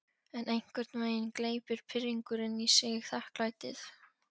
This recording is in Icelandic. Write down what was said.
En einhvern veginn gleypir pirringurinn í sig þakklætið.